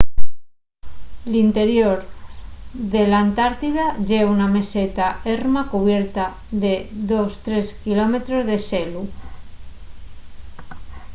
l'interior de l'antartida ye una meseta erma cubierta de 2-3 km de xelu